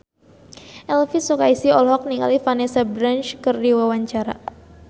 Elvi Sukaesih olohok ningali Vanessa Branch keur diwawancara